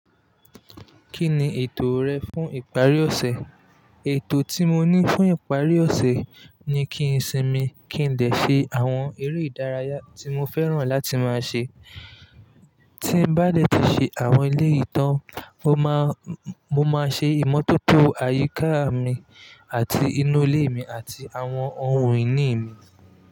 Kí ni ètò rẹ fún ìparí ọ̀sẹ̀? Ètò tí mo ní fún ìparí ọ̀sẹ̀ ni kí n sinmi, kí n dẹ ṣe àwọn eré ìdárayá tí mo fẹ́ràn láti máa ṣe. Tí n bá dẹ̀ tí ṣe àwọn eleyi tán, mo máa, mo máa ṣe ìmọ́tótó àyíká mi àti inú ilé mi àti àwọn ohun ìní mi.